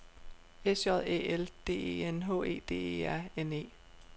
S J Æ L D E N H E D E R N E